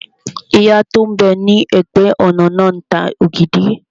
Ìyá tó n bẹ ní ẹ̀gbẹ́-ọ̀nà náà ń ta ògidì